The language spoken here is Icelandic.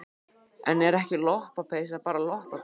En er ekki lopapeysa bara lopapeysa?